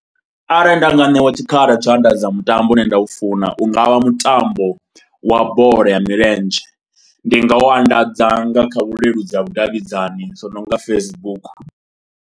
Arali nda nga ṋewa tshikhala tshau anḓadza mutambo une nda u funa u nga vha mutambo wa bola ya milenzhe. Ndi nga u anḓadza nga kha vhuleludzi ha vhudavhidzani zwo no nga Facebook.